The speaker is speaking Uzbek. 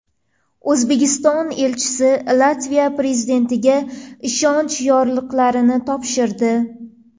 O‘zbekiston elchisi Latviya prezidentiga ishonch yorliqlarini topshirdi.